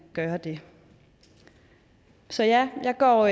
gøre det så ja jeg går